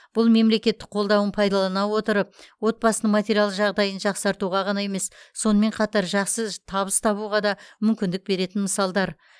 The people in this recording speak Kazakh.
бұл мемлекеттің қолдауын пайдалана отырып отбасының материалдық жағдайын жақсартуға ғана емес сонымен қатар жақсы табыс табуға да мүмкіндік беретін мысалдар